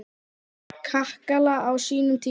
Þórðar kakala á sínum tíma.